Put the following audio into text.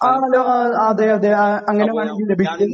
ആണല്ലോ അതെയതെ. അങ്ങനെ വേണമെങ്കിൽ ലഭിക്കും.